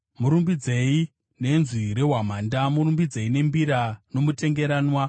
Murumbidzei nenzwi rehwamanda, murumbidzei nembira nomutengeranwa.